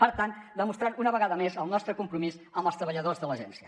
per tant demostrar una vegada més el nostre compromís amb els treballadors de l’agència